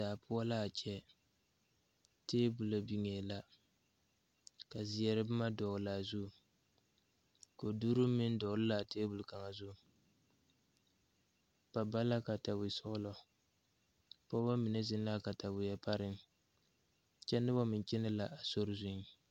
Daa poɔ laa kyɛ tabolɔ biŋee la ka zeɛre bomma dɔɔlaa zu koduruu meŋ dɔgle laa tabol kaŋa zu ba ba la katawisɔglɔ pɔɔbɔ mine zeŋ laa kataweɛ pareŋ kyɛ nobɔ meŋ kyɛnɛ la a sori zuiŋ.